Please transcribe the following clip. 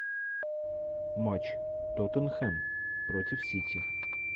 матч тоттенхэм против сити